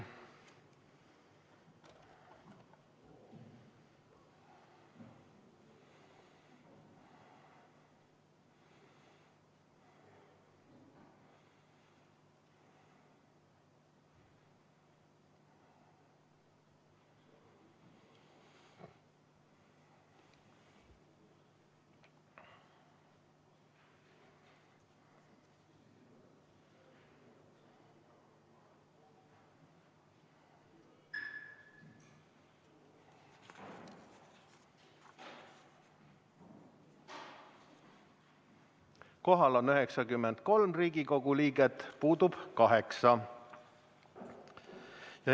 Kohal on 93 Riigikogu liiget, puudub 8.